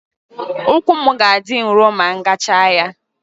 Ụkwụ m ga-adị nro ma m gachaa ya